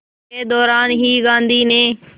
के दौरान ही गांधी ने